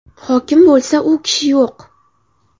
Hokim bo‘lsa, u kishi yo‘q!